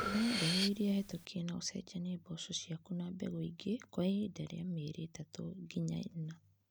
Tũmira mbegũ ĩrĩa hetũkie na ũcenjanie mboco ciaku na mbegũ ingĩ kwa ihinda rĩa mieri itatũ nginya ĩna